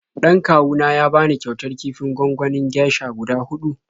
Dan kawu na ya bani kyautar kifin gwanganin geisha guda huɗu.